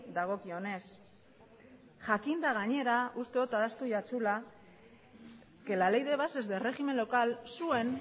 dagokionez jakinda gainera uste dot ahaztu jatzula que la ley de bases de régimen local zuen